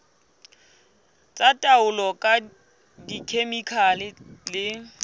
tsa taolo ka dikhemikhale le